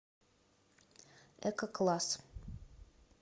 эко класс